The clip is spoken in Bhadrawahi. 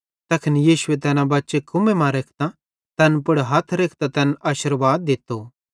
तैखन यीशुए तैना बच्चे कुम्मे मां रेखां तैन पुड़ हथ रेखतां तैनन् आशिर्वाद दित्तो